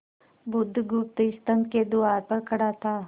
बुधगुप्त स्तंभ के द्वार पर खड़ा था